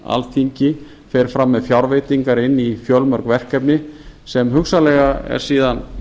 alþingi fer fram með fjárveitingar inn í fjölmörg verkefni sem hugsanlega er síðan